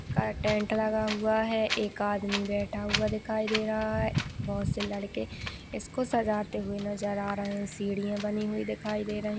Tent लगा हुआ है। एक आदमी बेठा हुआ दिखाई दे रहा है। बहुत से लड़के इसको सजाते हुए नज़र आ रहे है। सीढ़िया बनी हुई दिखाई दे रही है।